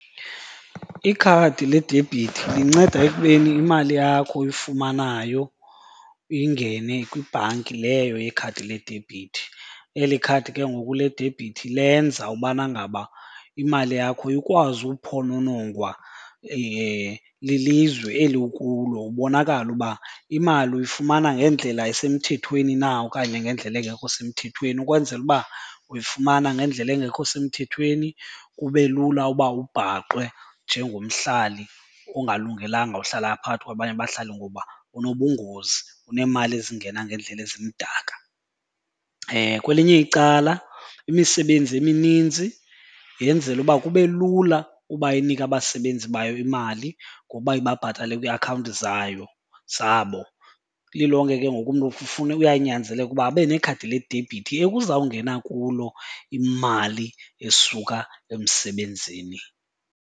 Ikhadi ledebhithi linceda ekubeni imali yakho oyifumanayo ingene kwibhanki leyo yekhadi ledebhithi. Eli khadi ke ngoku ledebhithi lenza ubana ngaba imali yakho ikwazi uphononongwa lilizwe eli kulo. Ubonakale uba imali uyifumana ngendlela esemthethweni na okanye ngendlela engekho semthethweni. Ukwenzela uba uyifumana ngendlela engekho semthethweni, kube lula uba ubhaqwe njengomhlali ongalungelanga uhlala phakathi kwabanye bahlali ngoba unobungozi, uneemali ezingena ngeendlela ezimdaka. Kwelinye icala imisebenzi emininzi yenzela uba kube lula uba inike abasebenzi bayo imali ngoba ibabhatale kwiiakhawunti zayo zabo. Lilonke ke ngoku umntu uyanyanzeleka uba abe nekhadi ledebhithi ekuzawungena kulo imali esuka emsebenzini.